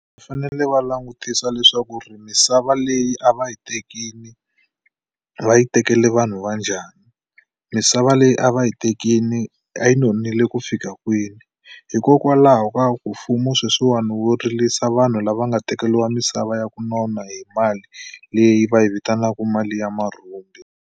Va fanele va langutisa leswaku ri misava leyi a va yi tekini va yi tekele vanhu va njhani misava leyi a va yi tekini a yi nonile ku fika kwini hikokwalaho ka ku mfumo sweswiwani wo rilisa vanhu lava nga tekeliwa misava ya ku nona hi mali leyi va yi vitanaka mali ya marhumbi.